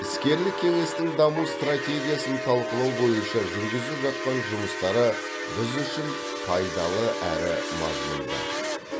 іскерлік кеңестің даму стратегиясын талқылау бойынша жүргізіп жатқан жұмыстары біз үшін пайдалы әрі мазмұнды